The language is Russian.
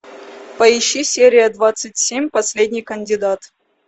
поищи серия двадцать семь последний кандидат